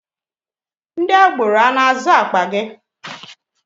Are they agberoes dragging ur bag?